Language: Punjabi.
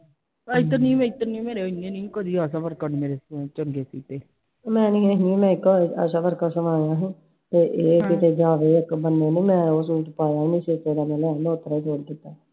ਨਹੀਂ ਨਹੀਂ ਮੈਂ ਤਾਂ ਆਸ਼ਾ ਵਰਕਰ ਸਮਾਇਆ ਸੀ ਤੇ ਚੱਲ ਇਹ ਆ ਕਿ ਓਸੇ ਵਿਚ ਪਾਇਆ ਨੀ ਸੀ ਮਲਹੋਤਰਾ change ਕਿਤੈ I